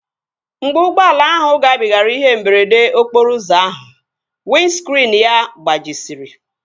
Mgbe ụgbọala ahụ gabigara ihe mberede okporo ụzọ ahụ, windskriinu ya gbajisiri